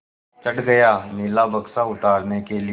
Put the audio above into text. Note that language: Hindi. चढ़ गया नीला बक्सा उतारने के लिए